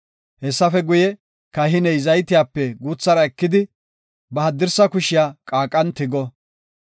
Hessafe guye, kahiney zaytiyape guuthara ekidi, ba haddirsa kushiya qaaqan tigo.